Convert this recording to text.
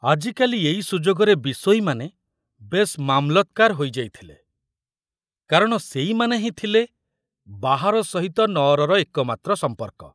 ଆଜିକାଲି ଏଇ ସୁଯୋଗରେ ବିଷୋଇମାନେ ବେଶ ମାମଲତକାର ହୋଇଯାଇଥିଲେ, କାରଣ ସେଇମାନେ ହିଁ ଥିଲେ ବାହାର ସହିତ ନଅରର ଏକମାତ୍ର ସମ୍ପର୍କ।